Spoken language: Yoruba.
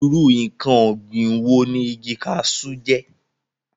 irú ǹkan ọ̀gbìn wo ni igi kasú jẹ́?